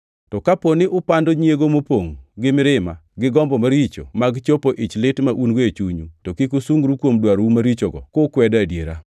To kapo ni upando nyiego mopongʼ gi mirima, gi gombo maricho mag chopo ichlit ma un-go e chunyu, to kik usungru kuom dwarou marichogo kukwedo adiera.